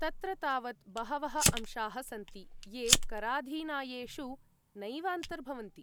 तत्र तावत् बहवः अंशाः सन्ति ये कराधीनायेषु नैव अन्तर्भवन्ति।